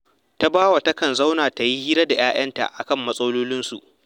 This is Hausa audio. Tabawa takan zauna ta yi hira da ‘ya’yanta a kan matsalolinsu